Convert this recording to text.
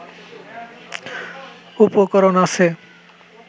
উপকরণ আছে